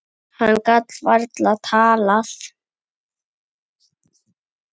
Hann gat varla talað.